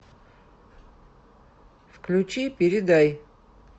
включи передай